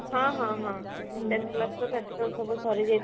ହଁ ହଁ ହଁ ten class ର practical ସବୁ ସରି ଯାଇଥିଲା ଆମର